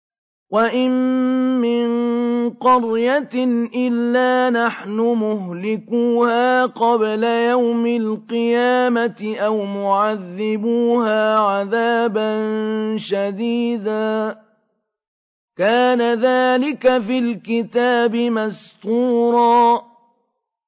وَإِن مِّن قَرْيَةٍ إِلَّا نَحْنُ مُهْلِكُوهَا قَبْلَ يَوْمِ الْقِيَامَةِ أَوْ مُعَذِّبُوهَا عَذَابًا شَدِيدًا ۚ كَانَ ذَٰلِكَ فِي الْكِتَابِ مَسْطُورًا